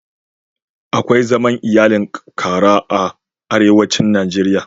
Akwai zaman iyalin ƙara a arewacin Najeriya.